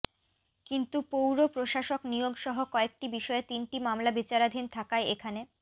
কিন্তু পৌর প্রশাসক নিয়োগসহ কয়েকটি বিষয়ে তিনটি মামলা বিচারাধীন থাকায় এখানে